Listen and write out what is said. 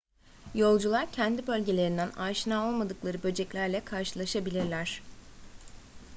yolcular kendi bölgelerinden aşina olmadıkları böceklerle karşılaşabilirler